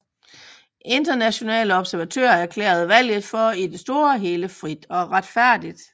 Internationale observatører erklærede valget for i det store hele frit og retfærdigt